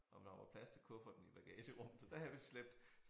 Om der var plads til kufferten i bagagerummet så der havde vi slæbt